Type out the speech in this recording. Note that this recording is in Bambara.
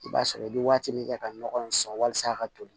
I b'a sɔrɔ i bɛ waati min kɛ ka nɔgɔ in sɔn walasa a ka toli